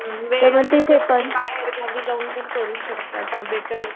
बाहेर गावी पण जाऊन करू शकता बेटर